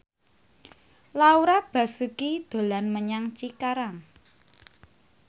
Laura Basuki dolan menyang Cikarang